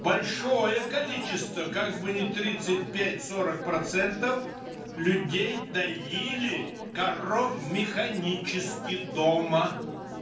большое количество как бы ни тридцать пять сорок процентов людей доили коров механически дома